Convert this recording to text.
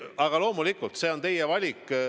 Aga loomulikult, see on teie valik.